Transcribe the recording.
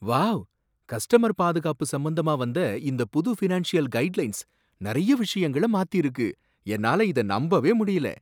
Wow! Customer பாதுகாப்பு சம்பந்தமா வந்த இந்த புது ஃபினான்ஷியல் கைட்லைன்ஸ் நிறைய விஷயங்கள மாத்திருக்கு, என்னால இத நம்பவே முடியல!